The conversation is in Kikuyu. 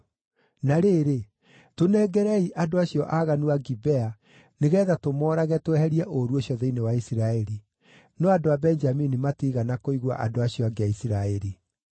Na rĩrĩ, tũnengerei andũ acio aaganu a Gibea nĩgeetha tũmoorage tweherie ũũru ũcio thĩinĩ wa Isiraeli.” No andũ a Benjamini matiigana kũigua andũ acio angĩ a Isiraeli.